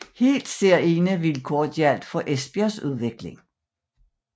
Helt særegne vilkår gjaldt for Esbjergs udvikling